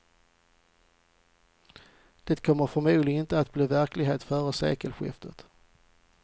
Det kommer förmodligen inte att bli verklighet före sekelskiftet.